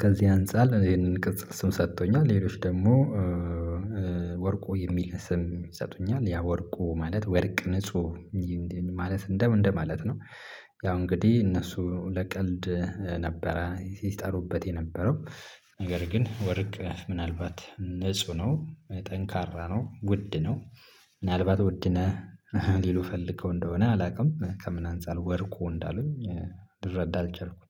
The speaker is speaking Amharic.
ከዚህ አንፃር ይሄንን ቅጽል ስም ሰጥቶኛል። ሌሎች ደግሞ ወርቁ የሚል ስም ይሰጡኛል ያ ወርቁ ማለት ወርቅ ንጹህ ማለት እንደምን እንደማለት ነው። ያው እንግዲህ እነሱ ለቀልድ ነበረ ሲጠሩበት የነበረው ነገር ግን ወርቅ ምናልባት ንጹህ ነው። ጠንካራ ነው ውድ ነው። ምናልባት ውድ ነህ ሊሉ ፈልገው እንደሆነ አላውቅም ከምን አንፃር ወርቁ እንዳሉኝ ልረዳ አልቻልኩም